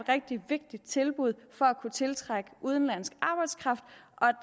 rigtig vigtigt tilbud for at kunne tiltrække udenlandsk arbejdskraft